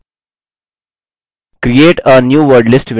create a new wordlist window प्रदर्शित होती है